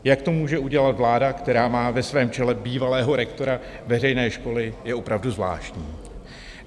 Jak to může udělat vláda, která má ve svém čele bývalého rektora veřejné školy, je opravdu zvláštní.